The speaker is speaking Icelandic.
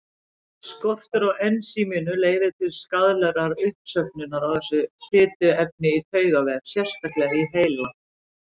Skortur á ensíminu leiðir til skaðlegrar uppsöfnunar á þessu fituefni í taugavef, sérstaklega í heila.